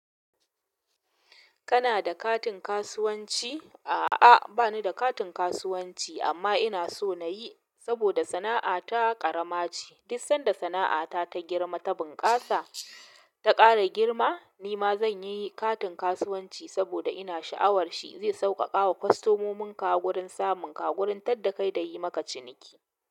Kana da katin kasuwanci? A'a bani da katin kasuwanci amma ina so nayi saboda sana'a ta ƙarama ce. Duk sanda sana'a ta ta girma ta bunƙasa, ta ƙara girma nima zan yi katin kasuwanci saboda ina sha'awar shi zai sauƙaƙa wa kostomomin ka gurin samun ka gurin tarda kai da yi maka cini ki.